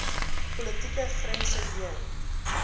politieke grense heen